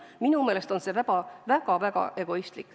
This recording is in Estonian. Minu meelest on see väga-väga egoistlik.